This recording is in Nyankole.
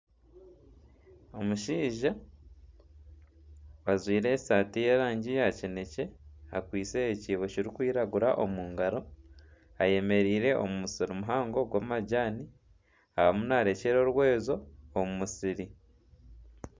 Omushaija ajwaire esaati y'erangi ya kinekye akwaitse ekyiibo kirikwiragura omu ngaro ayemereire omu musiri muhango gw'amajaani arimu narekyera orweezo omu musiri.